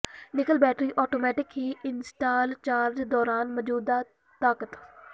ਨਿਕਲ battery automatic ਹੀ install charge ਦੌਰਾਨ ਮੌਜੂਦਾ ਤਾਕਤ